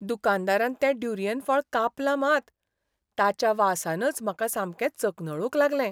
दुकानदारान तें ड्युरीयन फळ कापलां मात, ताच्या वासानच म्हाका सामकें चकनळूंक लागलें.